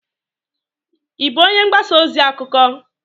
ị bụ onye mgbasa ozi? akụkọ?